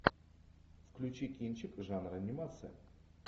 включи кинчик жанра анимация